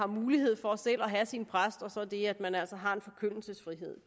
mulighed for selv at have sin præst og så det at man altså har en forkyndelsesfrihed